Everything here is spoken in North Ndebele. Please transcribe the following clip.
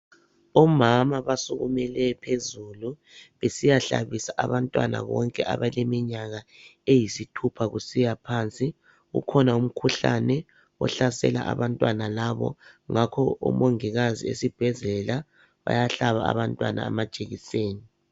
Omama basukumele phezulu besiyahlabisa abantwana bonke abaleminyaka eyisithupha kusiyaphansi. Kukhona umkhuhlane ohlasela abantwana labo ngakho omongikazi esibhedlela bayahlaba abantwana amajekiseni